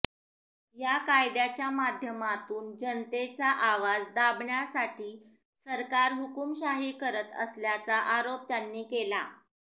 या कायद्याच्या माध्यमातून जनतेचा आवाज दाबण्यासाठी सरकार हुकुमशाही करत असल्याचा आरोप त्यांनी केला